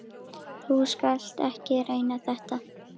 Þú skalt ekki reyna þetta.